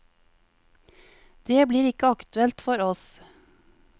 Det blir ikke aktuelt for oss.